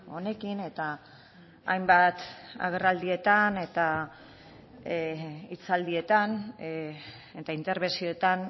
honekin eta hainbat agerraldietan eta hitzaldietan eta interbentzioetan